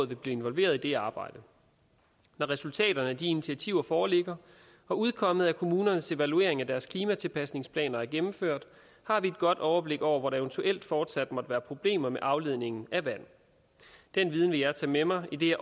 vil blive involveret i det arbejde når resultaterne af de initiativer foreligger og udkommet af kommunernes evaluering af deres klimatilpasningsplaner er gennemført har vi et godt overblik over hvor der eventuelt fortsat måtte være problemer med afledningen af vand den viden vil jeg tage med mig idet